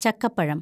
ചക്കപ്പഴം